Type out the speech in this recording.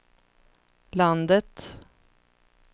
landet